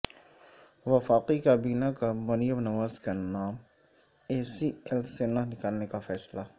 وفاقی کابینہ کا مریم نواز کا نام ای سی ایل سےنہ نکالنے کا فیصلہ